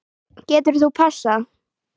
Getur þú passað?